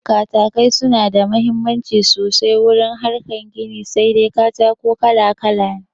Katakai suna da mahimmanci sosai wurin harkar gini, sai dai katako kala kala ne